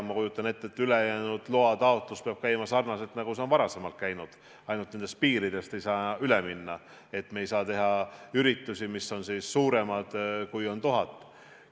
Ma kujutan ette, et ülejäänud osas peab loataotlus käima sarnaselt sellega, nagu see varem käis, ainult et nendest piiridest ei saa üle minna, me ei saa teha üritusi, mis on suuremad kui 1000 inimest.